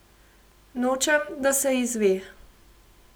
Nočem, da se izve.